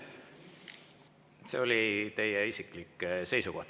See oli teie isiklik seisukoht.